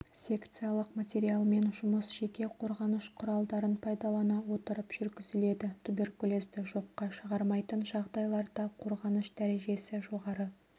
секциялық материалмен жұмыс жеке қорғаныш құралдарын пайдалана отырып жүргізіледі туберкулезді жоққа шығармайтын жағдайларда қорғаныш дәрежесі жоғары